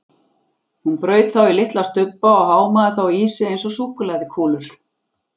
Hún braut þá í litla stubba og hámaði þá í sig eins og súkkulaðikúlur.